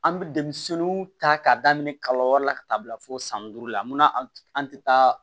An bɛ denmisɛnninw ta k'a daminɛ kalo wɛrɛ la ka taa bila fo san duuru la mun na an tɛ taa